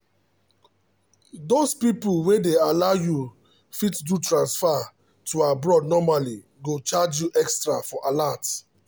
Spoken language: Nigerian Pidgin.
those people wey dey allow u fit do transfer to abroad normally go charge u extra for alert